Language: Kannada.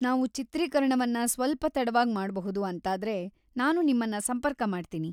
ನಾವು ಚಿತ್ರೀಕರಣವನ್ನ ಸ್ವಲ್ಪ ತಡವಾಗಿ ಮಾಡ್ಬಹುದು ಅಂತಾದ್ರೆ ನಾನು ನಿಮ್ಮನ್ನ ಸಂಪರ್ಕ ಮಾಡ್ತೀನಿ.